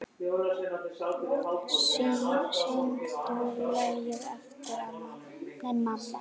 Syngdu lagið aftur, mamma